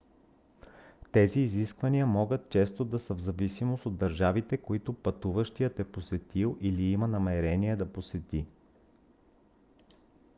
тези изисквания могат често да са в зависимост от държавите които пътуващият е посетил или има намерение да посети